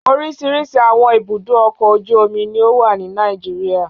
Oríṣiríṣi àwọn ibùdó-ọkọ̀ ojú-omi ni ó wà ní Nàìjíríà.